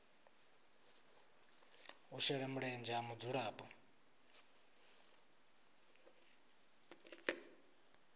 u shela mulenzhe ha mudzulapo